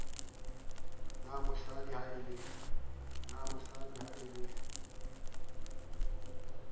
na mosadi ha e le